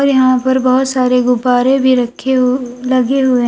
यहां पर बहुत सारे गुब्बारे भी रखे हुए लगे हुए--